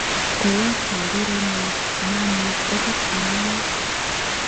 Ko a charirenot mamuch okot ang'alal